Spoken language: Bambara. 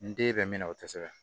N den bɛ min na o tɛ se ka